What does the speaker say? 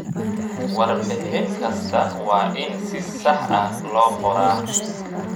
Warbixin kasta waa in si sax ah loo qoraa.